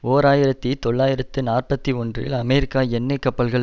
ஓர் ஆயிரத்தி தொள்ளாயிரத்து நாற்பத்தி ஒன்றில் அமெரிக்கா எண்ணெய் கப்பல்கள்